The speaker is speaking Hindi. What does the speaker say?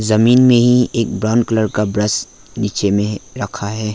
जमीन मे ही एक ब्राउन कलर का ब्रश नीचे में है रखा है।